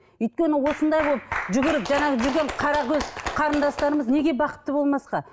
өйткені осындай болып жүгіріп жаңағы жүрген қаракөз қарындастарымыз неге бақытты болмасқа